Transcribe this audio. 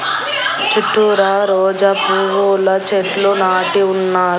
చుట్టూరా రోజాపూవ్వుల చెట్లు నాటి ఉన్నా--